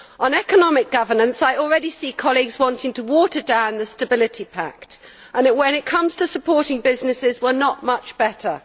On economic governance, I already see colleagues wanting to water down the Stability Pact, and when it comes to supporting businesses, we are not much better.